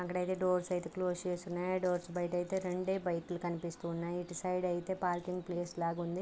అక్కడ అయితే డోర్స్ అయితే క్లోజ్ చేసి ఉన్నాయి. ఆ డోర్స్ బయట అయితే రెండే బైకులు కనిపిస్తున్నాయి. ఇటు సైడ్ అయితే పార్కింగ్ ప్లేస్ లాగా ఉంది.